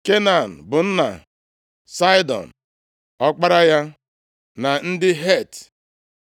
Kenan bụ nna Saịdọn, ọkpara ya, na ndị Het,